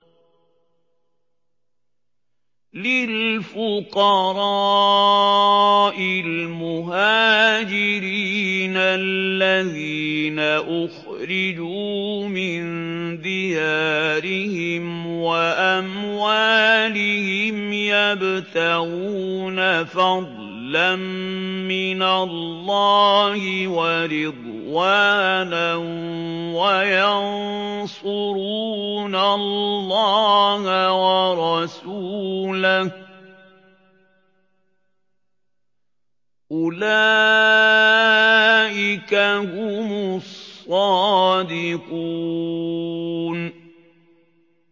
لِلْفُقَرَاءِ الْمُهَاجِرِينَ الَّذِينَ أُخْرِجُوا مِن دِيَارِهِمْ وَأَمْوَالِهِمْ يَبْتَغُونَ فَضْلًا مِّنَ اللَّهِ وَرِضْوَانًا وَيَنصُرُونَ اللَّهَ وَرَسُولَهُ ۚ أُولَٰئِكَ هُمُ الصَّادِقُونَ